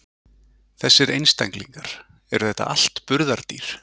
Þessir einstaklingar, eru þetta allt burðardýr?